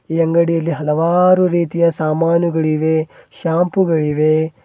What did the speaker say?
ಈ ಅಂಗಡಿಯಲ್ಲಿ ಹಲವಾರು ರೀತಿಯ ಸಾಮಾನುಗಳಿವೆ ಶಾಂಪೂ ಗಳಿವೆ.